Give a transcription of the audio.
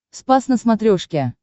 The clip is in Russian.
спас на смотрешке